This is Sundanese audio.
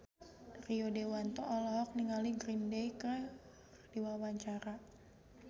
Rio Dewanto olohok ningali Green Day keur diwawancara